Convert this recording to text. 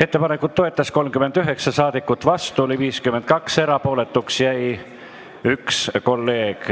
Ettepanekut toetas 39 ja vastu oli 52 saadikut, erapooletuks jäi 1 kolleeg.